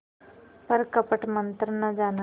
पर कपट मन्त्र न जाना